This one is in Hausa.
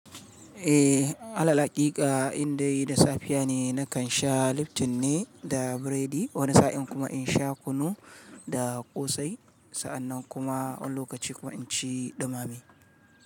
Eh, alalhaƙika indai da safiya ne, nakan sha Lipton ne da biredi. Wani sa'in kuma in sha kunu da ƙosai. Sa'annan kuma wani lokaci kuma inci ɗumame.